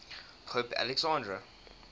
pope alexander